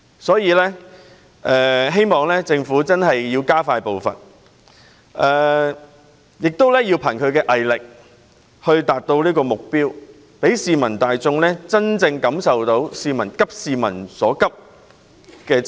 所以，我希望政府加快步伐，憑藉毅力達到目標，讓市民大眾真正感受到政府"急市民之所急"。